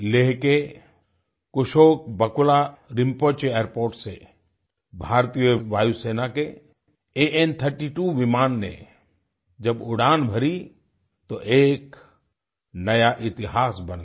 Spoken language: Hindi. लेह के कुशोक बाकुला रिम्पोची एयरपोर्ट से भारतीय वायुसेना के AN32 विमान ने जब उड़ान भरी तो एक नया इतिहास बन गया